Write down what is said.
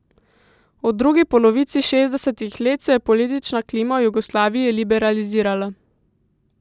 V drugi polovici šestdesetih let se je politična klima v Jugoslaviji liberalizirala.